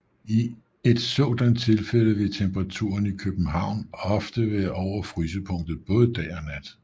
I et sådant tilfælde vil temperaturen i København ofte være over frysepunktet både dag og nat